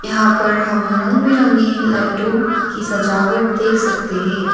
यहां पर हम रंग बिरंगी लाइटों की सजावट देख सकते है।